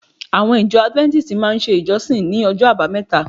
Àwọn ìjọ Adventists máa ń ṣe ìjọsìn ní ọjọ́ àbámẹ́ta